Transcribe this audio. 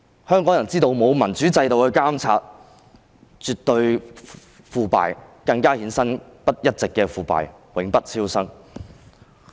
香港人知道沒有民主制度的監察是絕對的腐敗，更會一直衍生腐敗，永不超生。